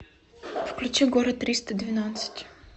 включи город триста двенадцать